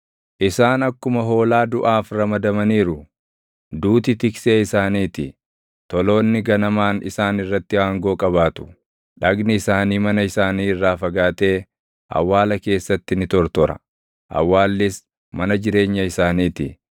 Isaan akkuma hoolaa duʼaaf ramadamaniiru; duuti tiksee isaanii ti; toloonni ganamaan isaan irratti aangoo qabaatu; dhagni isaanii mana isaanii irraa fagaatee awwaala keessatti ni tortora; awwaallis mana jireenya isaanii ti.